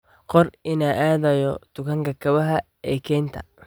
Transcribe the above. qor in aan aadayo dukaanka kabaha ee kaynta